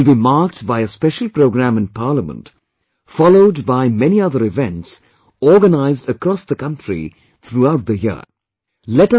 This occasion will be marked by a special programme in Parliament followed by many other events organised across the country throughout the year